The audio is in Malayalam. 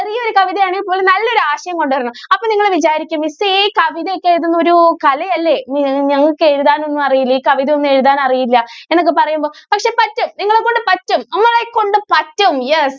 ചെറിയ ഒരു കവിത ആണെങ്കിലും നല്ല ഒരു ആശയം കൊണ്ടുവരണം അപ്പൊ നിങ്ങൾ വിചാരിക്കും miss ഈ കവിതയൊക്കെ എഴുതുന്നത് ഒരു കല അല്ലെ ഞങ്ങൾക്ക് എഴുതാൻ ഒന്നും അറിയില്ല ഈ കവിത ഒന്നും എഴുതാൻ അറിയില്ല എന്നൊക്കെ പറയുമ്പോൾ പക്ഷേ പറ്റും. നിങ്ങളെ കൊണ്ട് പറ്റും. നമ്മളെ കൊണ്ട് പറ്റും yes